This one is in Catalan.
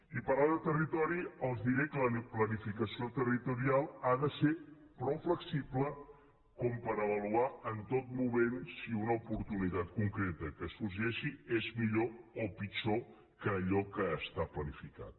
i parlant de territori els diré que la planificació territorial ha de ser prou flexible com per avaluar en tot moment si una oportunitat concreta que sorgeix és millor o pitjor que allò que està planificat